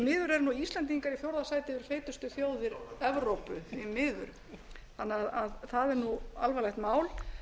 miður eru íslendingar í fjórða sæti yfir feitustu þjóðir evrópu því miður þannig að það er alvarlegt mál